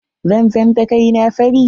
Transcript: Zan fenta kai na fari.